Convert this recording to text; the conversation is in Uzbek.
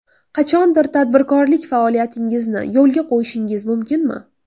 Qachondir tadbirkorlik faoliyatingizni yo‘lga qo‘yishingiz mumkinmi?